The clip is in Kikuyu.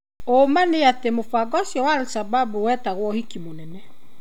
ũma nĩ atĩ mũbango ũcio wa Al-Shabab wetagwo ũhiki mũnene.